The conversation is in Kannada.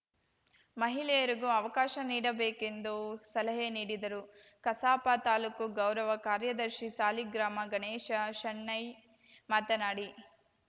ಮಹಿಳೆಯರಿಗೂ ಅವಕಾಶ ನೀಡಬೇಕೆಂದು ಸಲಹೆ ನೀಡಿದರು ಕಸಾಪ ತಾಲೂಕು ಗೌರವ ಕಾರ್ಯದರ್ಶಿ ಸಾಲಿಗ್ರಾಮ ಗಣೇಶ ಶೆಣೈ ಮಾತನಾಡಿ